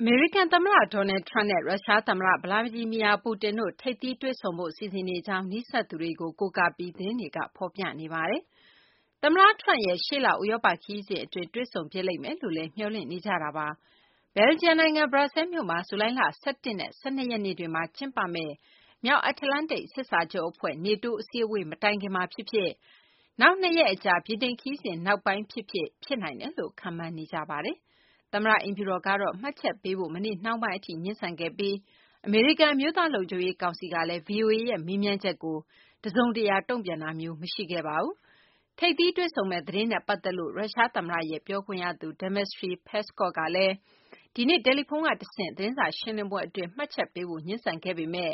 အမေရိကန်သမ္မတ Donald Trump နဲ့ ရုရှားသမ္မတ Vladimir Putin တို့ ထိပ်သီးတွေ့ဆုံဖို့ စီစဉ်နေကြောင်း နီးစပ်သူတွေကို ကိုးကားပြီး သတင်းတွေက ဖော်ပြနေကြပါတယ်။ သမ္မတTrump ရဲ့ ရှေ့လ ဥရောပခရီးစဉ်အတွင်း ထိပ်သီးတွေ့ဆုံဖြစ်လိမ့်မယ်လို့လည်း မျှော်လင့်နေကြတာပါ။ ဘယ်လ်ဂျီယံနိုင်ငံ ဘရပ်ဆဲလ်မြို့မှာ ဇူလိုင်လ ၁၁ နဲ့ ၁၂ ရက်နေ့တွေမှာ ကျင်းပမယ့် မြောက်အတ္တလန်တိတ် စစ်စာချုပ်အဖွဲ့ (NATO) အစည်းအဝေး မတိုင်ခင်မှာဖြစ်ဖြစ်၊ နောက် ၂ ရက်အကြာ ဗြိတိန်ခရီးစဉ် နောက်ပိုင်းဖြစ်ဖြစ် ဖြစ်နိုင်တယ်လို့လည်း ခန့်မှန်းနေကြပါတယ်။ အမေရိကန်သမ္မတ အိမ်ဖြူတော်ကတော့ မှတ်ချက်ပေးဖို့ မနေ့နှောင်းပိုင်းအထိ ငြင်းဆန်ခဲ့ပြီး၊ အမေရိကန် အမျိုးသားလုံခြုံရေး ကောင်စီကလည်း ဗွီအိုအေရဲ့ မေးမြန်းချက်ကို တစုံတရာ တုံ့ပြန်တာမျိုး မရှိခဲ့ပါဘူး။ ထိပ်သီးတွေ့ဆုံမယ့် သတင်းနဲ့ ပတ်သက်လို့ ရုရှားသမ္မတရဲ့ ပြောခွင့်ရသူ Dmitry Peskov ကလည်း ဒီနေ့တယ်လီဖုန်းကတဆင့် သတင်းစာရှင်းလင်းပွဲအတွင်း မှတ်ချက်ပေးဖို့ ငြင်းဆန်ခဲ့ပေမဲ့